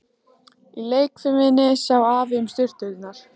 Í leikfiminni sá Afi um sturturnar.